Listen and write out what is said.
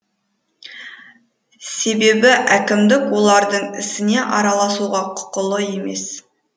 себебі әкімдік олардың ісіне араласуға құқылы емес